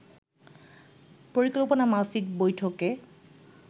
পরিকল্পনামাফিক বৈঠকে